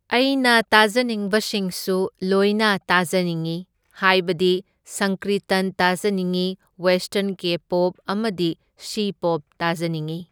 ꯑꯩꯅ ꯇꯥꯖꯅꯤꯡꯕꯁꯤꯡꯁꯨ ꯂꯣꯏꯅ ꯇꯥꯖꯅꯤꯡꯉꯤ ꯍꯥꯏꯕꯗꯤ ꯁꯪꯀ꯭ꯔꯤꯇꯟ ꯇꯥꯖꯅꯤꯡꯢ, ꯋꯦꯁꯇꯔꯟ ꯀꯦ ꯄꯣꯞ ꯑꯃꯗꯤ ꯁꯤꯄꯣꯞ ꯇꯥꯖꯅꯤꯡꯢ꯫